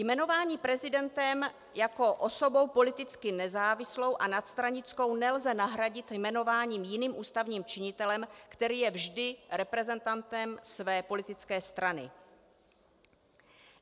Jmenování prezidentem jako osobou politicky nezávislou a nadstranickou nelze nahradit jmenováním jiným ústavním činitelem, který je vždy reprezentantem své politické strany.